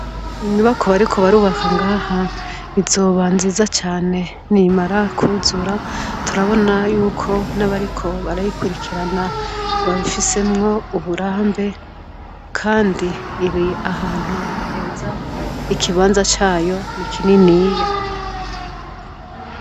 Inyubakwa bariko barubaka ngaha inzoba nziza cane nimara kuzura turabona yuko nabariko barayikurikirana babifisemwo uburambe kandi iri ahantu heza ikibanza cayo nikininiya